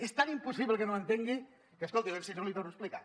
és tan impossible que no entengui que escolti si no li ho torno a explicar